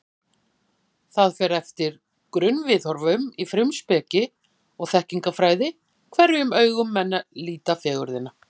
Það fer eftir grunnviðhorfum í frumspeki og þekkingarfræði, hverjum augum menn líta fegurðina.